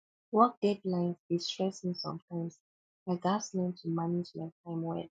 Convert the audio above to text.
work deadlines dey stress me sometimes i gats learn to manage my time well